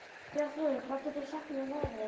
Bjarnþrúður, hvað geturðu sagt mér um veðrið?